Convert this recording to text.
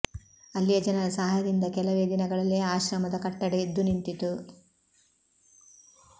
ಅಲ್ಲಿಯ ಜನರ ಸಹಾಯದಿಂದ ಕೆಲವೆ ದಿನಗಳಲ್ಲಿ ಆಶ್ರಮದ ಕಟ್ಟಡ ಎದ್ದು ನಿಂತಿತು